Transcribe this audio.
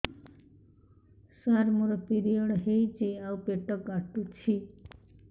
ସାର ମୋର ପିରିଅଡ଼ ହେଇଚି ଆଉ ପେଟ କାଟୁଛି